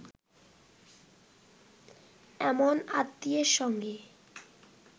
এমন আত্মীয়ের সঙ্গে